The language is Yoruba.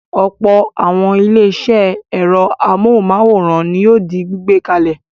Ọ̀pọ̀ àwọn ilé-iṣẹ́ ẹ̀rọ amóhùmáwòhán ni yóò di gbígbé kalẹ̀.